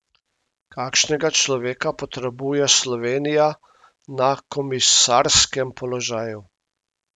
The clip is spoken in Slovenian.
Kakšnega človeka potrebuje Slovenija na komisarskem položaju?